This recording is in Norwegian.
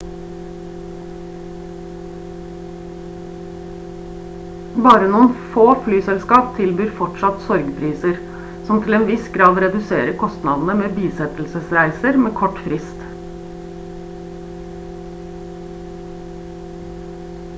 bare noen få flyselskap tilbyr fortsatt sorgpriser som til en viss grad reduserer kostnadene med bisettelsesreiser med kort frist